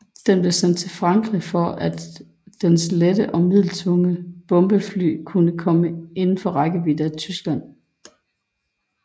Den blev sendt til Frankrig for at dens lette og middeltunge bombefly kunne komme indenfor rækkevidde af Tyskland